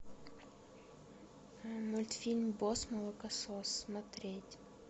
мультфильм босс молокосос смотреть